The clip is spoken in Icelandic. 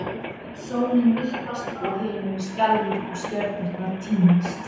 Sólin myrkvast og himinninn skelfur og stjörnurnar týnast!